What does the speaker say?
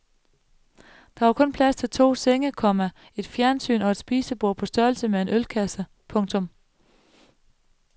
Der var kun plads til to senge, komma et fjernsyn og et spisebord på størrelse med en ølkasse. punktum